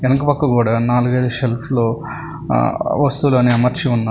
ఎనక పక్క గోడ నాలుగైదు సెల్ఫ్లు ఆ వస్తువులని అమర్చి ఉన్నారు